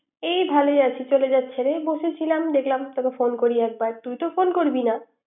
এই ভালোই আছি। চলে যাচ্ছে রে। ছিলাম দেখালাম তোকে ফোন করলাম একবার, তুই তো ফোন করবি না।